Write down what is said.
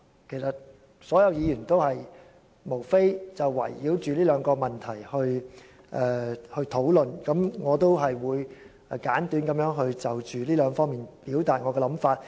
其實，所有議員都是圍繞這兩個問題來討論。我也會簡短地從這兩方面表達我的想法。